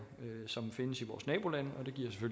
som findes i vores nabolande